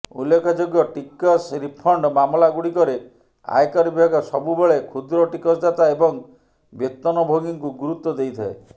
ଉଲ୍ଲେଖଯୋଗ୍ୟ ଟିକସ ରିଫଣ୍ଡ୍ ମାମଲାଗୁଡ଼ିକରେ ଆୟକର ବିଭାଗ ସବୁ ବେଳେ କ୍ଷୁଦ୍ର ଟିକସଦାତା ଏବଂ ବେତନଭୋଗୀଙ୍କୁ ଗୁରୁତ୍ୱ ଦେଇଥାଏ